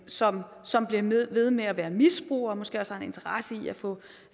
som som bliver ved med at være misbrugere og måske også har en interesse i at få